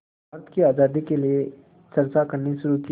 भारत की आज़ादी के लिए चर्चा करनी शुरू की